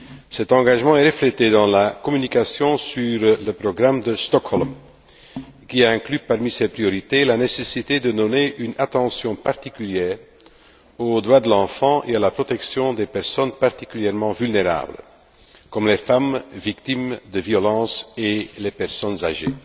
Cet engagement est reflété dans la communication sur le programme de Stockholm qui inclut, parmi ses priorités, la nécessité de donner une attention particulière aux droits de l'enfant et à la protection des personnes particulièrement vulnérables, comme les femmes victimes de violences et les personnes âgées.